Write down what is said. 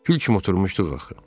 Kül kimi oturmuşduq axı.